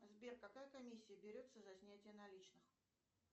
сбер какая комиссия берется за снятие наличных